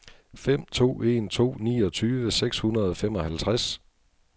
fem to en to niogtyve seks hundrede og femoghalvtreds